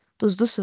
duzlu su.